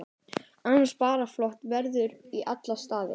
Annars bara flott ferð í alla staði.